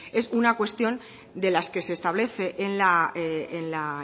es una cuestión de las que se establece en la